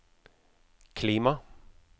klima